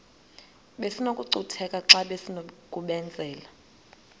besinokucutheka xa besinokubenzela